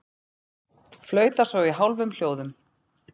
Flauta svo í hálfum hljóðum.